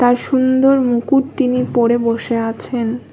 তার সুন্দর মুকুট তিনি পরে বসে আছেন।